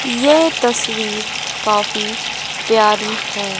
यह तस्वीर काफी प्यारी है।